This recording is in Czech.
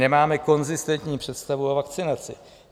Nemáme konzistentní představu o vakcinaci.